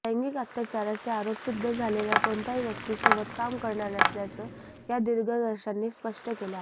लैंगिक अत्याचाराचे आरोप सिद्ध झालेल्या कोणत्याही व्यक्तीसोबत काम करणार नसल्याचं या दिग्दर्शकांनी स्पष्ट केलं आहे